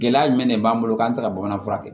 Gɛlɛya jumɛn de b'an bolo k'an tɛ se ka bamanan fura kɛ